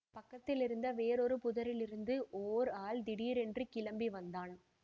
பக்கத்திலிருந்த வேறொரு புதரிலிருந்து ஓர் ஆள் திடீரென்று கிளம்பி வந்தான்